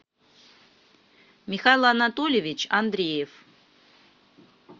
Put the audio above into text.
михаил анатольевич андреев